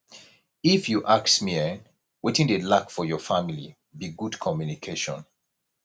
if you ask me eh wetin dey lack for your family be good communication